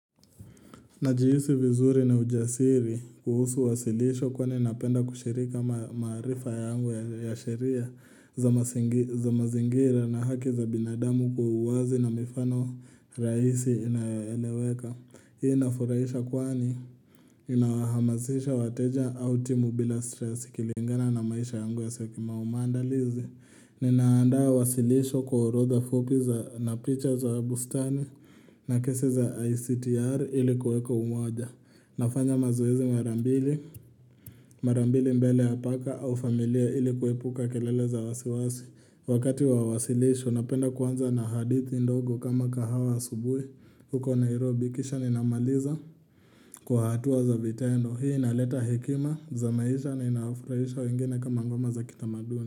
Najihisi vizuri na ujasiri kuhusu wasilisho kwani napenda kushirika maarifa yangu ya sheria za mazingira na haki za binadamu kwa uwazi na mifano rahisi inayoeleweka. Hii inafurahisha kwani inawahamazisha wateja au timu bila stresi ikilingana na maisha yangu ya seki maumandalizi Ninaandaa wasilisho kwa orodha fupi za na picha za bustani na kesi za ICTR ilikuweka umoja nafanya mazoezi mara mbili, mara mbili mbele apaka au familia ilikuepuka kelele za wasiwasi Wakati wa wasilisho napenda kuanza na hadithi ndogo kama kahawa asubuhi huko Nairobi, kisha ninamaliza kwa hatua za vitendo Hii inaleta hekima za maisha na inafraisha wengine kama ngoma za kitamaduni.